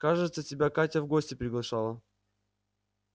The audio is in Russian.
кажется тебя катя в гости приглашала